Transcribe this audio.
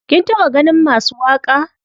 Kin taɓa ganin masu waƙa?